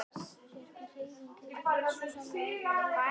Sérhver hreyfing hefur heilsusamleg áhrif á líkamann.